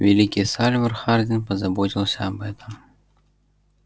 великий сальвор хардин позаботился об этом